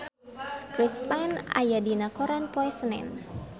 Chris Pane aya dina koran poe Senen